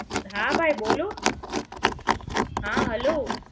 હા ભાઈ બોલો હા હલો